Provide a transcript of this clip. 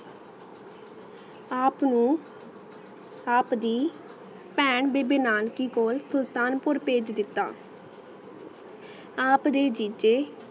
ਆਪ ਨੂ ਆਪ ਦੀ ਪੈਣ ਬੀਬੀ ਨਾਨਕੀ ਕੋਲ ਸੁਲਤਾਨਪੁਰ ਫੇਜ ਦਿਤਾ ਆਪ ਦੀ ਦਿਜੇ